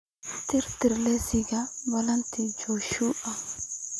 tirtir liiska balanta joshua